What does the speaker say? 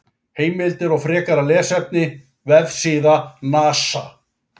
Heimildir og frekara lesefni: Vefsíða NASA.